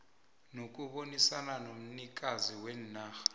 nokubonisana nomnikazi wenarha